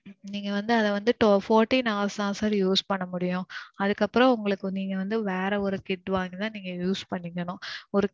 நீங்க வந்து அத வந்து fourteen hours தான் sir use பண்ண முடியும். அதுக்கு அப்பறோம் உங்களுக்கு நீங்க வந்து வேற ஒரு kit வாங்கி தான் நீங்க use பண்ணிக்கணும். ஓரு